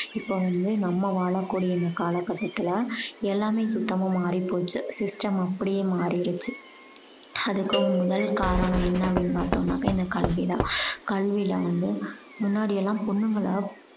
இப்போ வந்து நம்ம வாழ கூடிய இந்த கால கட்டத்துல எல்லாமே சுத்தமா மாறி போச்சு system அப்படியே மாறிடிச்சு. அதுக்கு முதல் காரணம் என்ன அப்படீன்னு பாத்தோம்னாக்கா இந்த கல்வி தான். கல்வில வந்து முன்னாடியெல்லாம் பொண்ணுங்களெல்லாம்